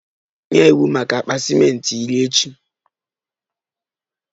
Nye iwu maka akpa ciment iri echi!